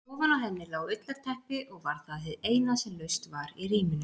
Ofan á henni lá ullarteppi og var það hið eina sem laust var í rýminu.